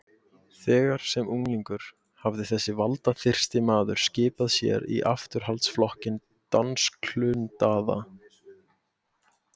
Þegar sem unglingur hafði þessi valdaþyrsti maður skipað sér í afturhaldsflokkinn dansklundaða